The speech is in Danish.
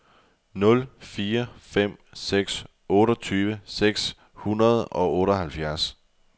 nul fire fem seks otteogtyve seks hundrede og otteoghalvfjerds